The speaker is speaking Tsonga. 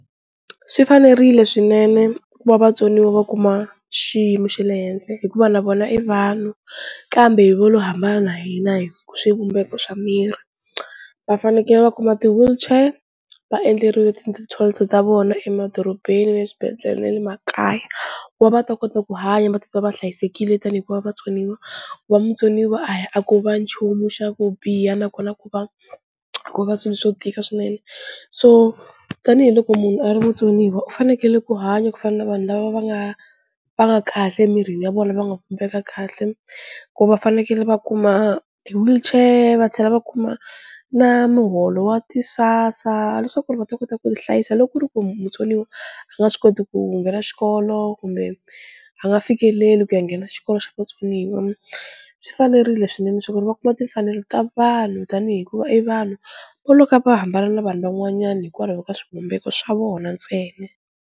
Swi fanerile swinene ku va vatsoniwa va kuma xiyimo xa le henhla hikuva na vona i vanhu kambe vo lo hambana na hina hi swivumbeko swa miri, va fanekele va kuma ti-wheelchair, va endleriwa ti-toilet ta vona emadorobeni na le swibedhlele na le makaya ku va va ta kota ku hanya va titwa va hlayisekile tani hikuva vatsoniwa, ku va mutsoniwa a hi a ko va nchumu xa ku biha nakona ku va a kova swilo swo tika swinene, so tanihiloko munhu a ri mutsoniwa u fanekele ku hanya ku fana na vanhu lava va nga va nga kahle emirini ya vona va nga vumbeka kahle, ku va fanekele va kuma ti-wheelchair va tlhela va kuma na muholo wa ti-SASSA leswaku va ta kota ku tihlayisa loko ku ri ku mutsoniwa a nga swi koti ku nghena xikolo kumbe a nga fikeleli ku ku ya nghena xikolo xa vatsoniwa, swi fanerile swinene leswaku va kuma timfanelo ta vanhu tanihi ku i vanhu vo loka va hambana na vanhu van'wanyani hikwalaho ka swivumbeko swa vona ntsena.